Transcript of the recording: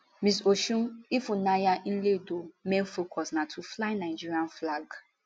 miss osun ifunanya nledo main focus na to fly nigeria flag